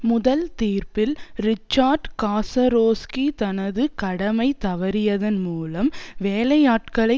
முதல் தீர்ப்பில் Richard Kasarowski தனது கடமை தவறியதன் மூலம் வேலையாட்களை